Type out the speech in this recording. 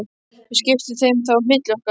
Við skiptum þeim þá á milli okkar.